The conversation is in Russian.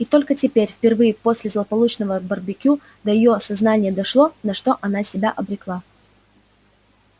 и только теперь впервые после злополучного барбекю до её сознания дошло на что она себя обрекла